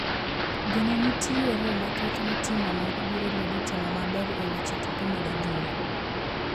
Geno nitiere mathoth ni tim onogo biro medo timo maber e weche tuke mag adhula.